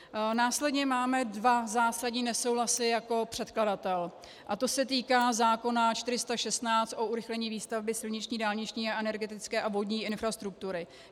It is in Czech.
Následně máme dva zásadní nesouhlasy jako předkladatel, a to se týká zákona 416 o urychlení výstavby silniční dálniční, energetické a vodní infrastruktury.